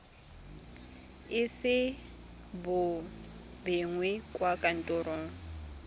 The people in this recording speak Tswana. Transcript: ise bo begwe kwa kantorong